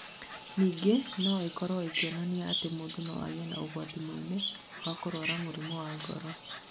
Ningĩ no ikorũo ikĩonania atĩ mũndũ no agĩe na ũgwati mũnene wa kũrũara mũrimũ wa ngoro.